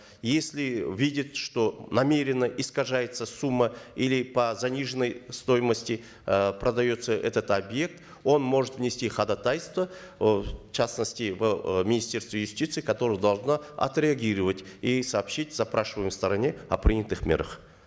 если видит что намеренно искажается сумма или по заниженной стоимости э продается этот объект он может внести ходатайство э в частности в э министерство юстиции которое должно отреагировать и сообщить запрашиваемой стороне о принятых мерах